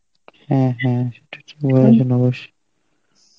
হ্যাঁ, হ্যাঁ